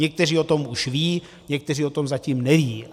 Někteří o tom už vědí, někteří o tom zatím nevědí.